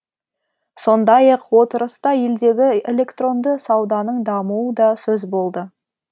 сондай ақ отырыста елдегі электронды сауданың дамуы да сөз болды